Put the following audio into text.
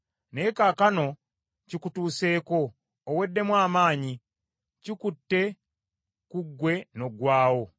Naye kaakano kikutuuseeko, oweddemu amaanyi; kikutte ku ggwe n’oggwaawo!